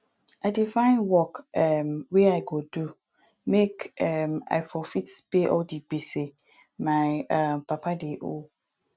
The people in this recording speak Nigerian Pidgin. i dey find work um wey i go do make um i for fit pay all di gbese my um papa dey owe